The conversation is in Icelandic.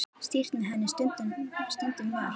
Stýrt með henni stundum var.